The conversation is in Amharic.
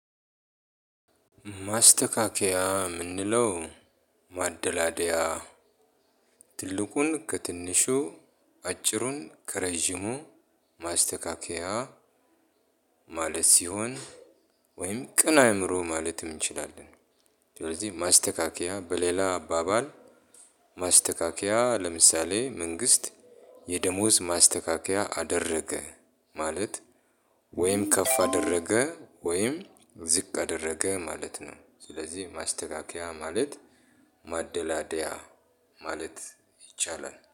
ማስተካከያ የምንለው ማደላደያ ትልቁን ከትንሹ አጭሩን ከረጅሙ ማስተካከያ ማለት ሲሆን ወይም ቅን አእምሮ ማለትም እንችላለን። ስለዚህ ማስተካከያ በሌላ አባባል። ማስተካከያ ለምሳሌ መንግስት የደሞዝ ማስተካከያ አደረገ ማለት ወይም ከፍ አደረገ ወይም ዝቅ አደረገ ማለት ነው። ስለዚህ ማስተካከያ ማለት ማደላደያ ማለት ይቻላል